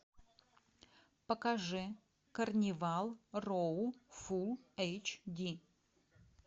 покажи карнивал роу фул эйч ди